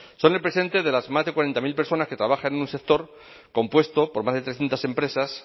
son el presente de las más de cuarenta mil personas que trabajan en un sector compuesto por más de trescientos empresas